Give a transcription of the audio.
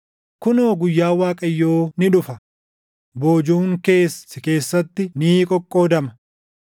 Kunoo guyyaan Waaqayyoo ni dhufa; boojuun kees si keessatti ni qoqqoodama.